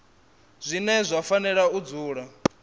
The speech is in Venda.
zwine zwa fanela u dzula